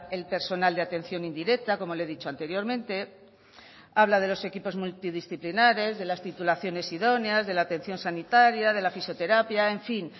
el personal de atención indirecta como le he dicho anteriormente habla de los equipos multidisciplinares de las titulaciones idóneas de la atención sanitaria de la fisioterapia en fin